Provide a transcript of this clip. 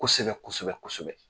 Kosɛbɛ kosɛbɛ kosɛbɛ.